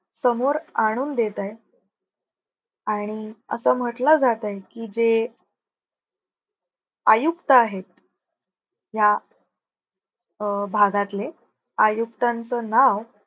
समोर आणून देत आहेत आणि असं म्हंटल जातंय की, जे आयुक्त आहेत. ह्या अं भागातले आयुक्तांच नाव